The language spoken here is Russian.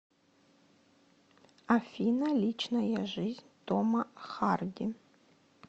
афина личная жизнь тома харди